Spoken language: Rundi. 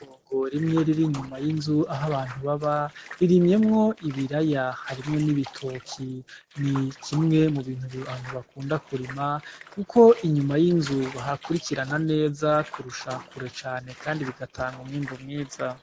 Itongo rimwe riri inyuma y'inzu aho abantu baba ririmyemo ibiraya harimwo n'ibitoki nikimwe mubintu abantu bakunda kurima kuko inyuma y'inzu bahakurikirana neza kurusha kure cane kandi bigatanga umwimbu mwiza.